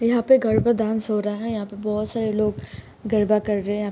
यहाँ पे गरबा डांस हो रहा है यहाँ पे बहुत सारे लोग गरबा कर रे है।